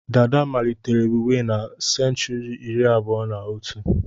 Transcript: Dàdá malitere wiwe na senchuri iri abụọ na otù.